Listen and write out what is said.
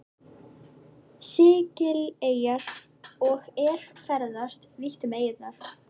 Sikileyjar og er ferðast vítt um eyjuna.